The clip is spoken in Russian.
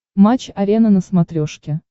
матч арена на смотрешке